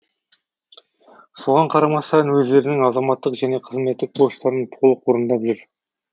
соған қарамастан өздерінің азаматтық және қызметтік борыштарын толық орындап жүр